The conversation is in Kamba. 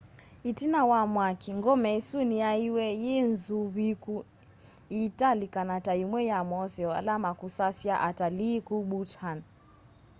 itina wa mwaki ngome isu niyaiiwe yi nzuviiku iitalikana ta imwe ya moseo ala makusasya atalii ku bhutan